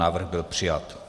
Návrh byl přijat.